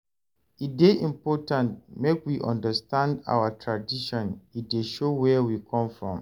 E dey important make we understand our tradition, e dey show where we come from.